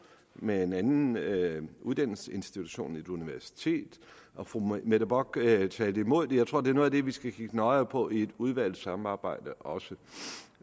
med en anden uddannelsesinstitution et universitet og fru mette bock talte imod det jeg tror det er noget af det vi også skal kigge nøjere på i et udvalgssamarbejde også